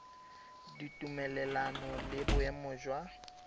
ditumelelano le boemo jo jwa